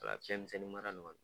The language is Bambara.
O la fiɲɛminsɛnnin mara ni kɔni.